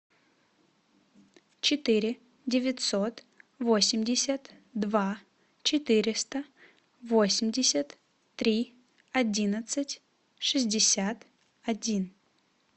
четыре девятьсот восемьдесят два четыреста восемьдесят три одиннадцать шестьдесят один